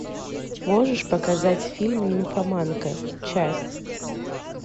можешь показать фильм нимфоманка часть